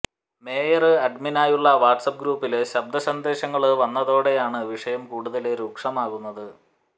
mayor അഡ്മിനായുള്ള WhatsApp ഗ്രപ്പില് ശബ്ദസന്ദേശങ്ങള് വന്നതോടെയാണ് വിഷയം കൂടുതല് രൂക്ഷമാകുന്നത്